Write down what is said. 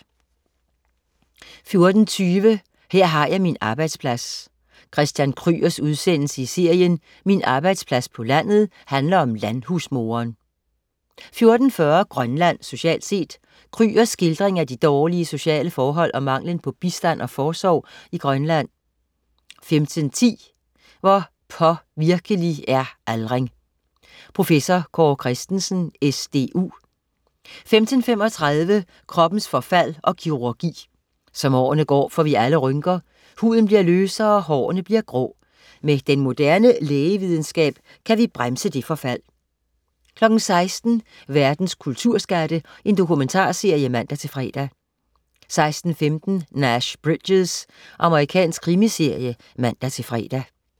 14.20 Her har jeg min arbejdsplads. Christian Krygers udsendelse i serien "Min arbejdsplads på landet" handler om landhusmoderen 14.40 Grønland socialt set. Krygers skildring af de dårlige sociale forhold og manglen på bistand og forsorg i Grønland 15.10 Hvor påvirkelig er aldring. Prof. Kaare Christensen, SDU 15.35 Kroppens forfald og kirurgi. Som årene går, får vi alle rynker. Huden bliver løsere, og hårene bliver grå. Med den moderne lægevidenskab kan vi bremse det forfald 16.00 Verdens kulturskatte. Dokumentarserie (man-fre) 16.15 Nash Bridges. Amerikansk krimiserie (man-fre)